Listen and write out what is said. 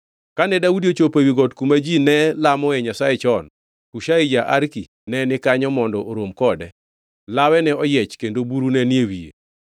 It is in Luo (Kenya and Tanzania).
Kane Daudi ochopo ewi got kuma ji ne lamoe Nyasaye chon, Hushai ja-Arki ne ni kanyo mondo orom kode, lawe ne oyiech kendo buru ne ni e wiye.